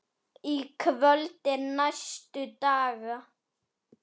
Í kvöld og næstu daga?